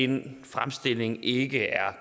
den fremstilling ikke er